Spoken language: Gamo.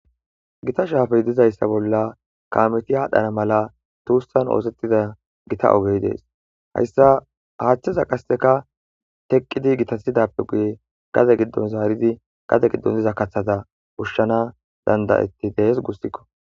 gita shaafey dizayssa bolla kameti haadhdhana mala tuussan oosettida gita ogey dees hayssa haaththeza qasseka teqqidi gitasidappe guye gade giddon zaaridi gade giddon diza kathata ushshana dandayetti dees gussikko